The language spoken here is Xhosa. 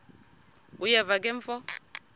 uyeva ke mfo